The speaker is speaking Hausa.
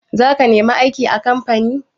Za ka nemi aiki a kamfani?